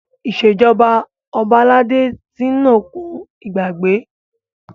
Ìṣèjọba ọba aládé ti ń òkun ìgbàgbé.